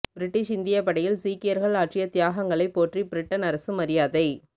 British இந்தியப் படையில் சீக்கியர்கள் ஆற்றிய தியாகங்களை போற்றி பிரிட்டன் அரசு மரியாதை